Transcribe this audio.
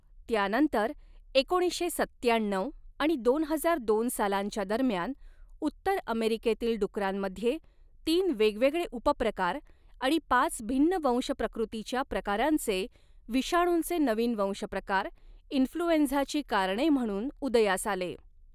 त्यानंतर, एकोणीसशे सत्त्याण्णऊ आणि दोन हजार दोन सालांच्या दरम्यान, उत्तर अमेरिकेतील डुकरांमध्ये, तीन वेगवेगळे उपप्रकार आणि पाच भिन्न वंशप्रकृतीच्या प्रकारांचे विषाणूंचे नवीन वंशप्रकार, इन्फ्लुएंझाची कारणे म्हणून उदयास आले.